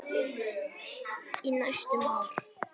Í næstum ár.